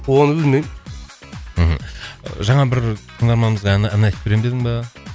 оны білмеймін мхм жаңа бір тыңдарманымызға ән ән айтып беремін дедің ба